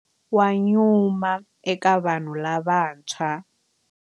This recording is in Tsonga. Wa nyuma eka vanhu lavantshwa.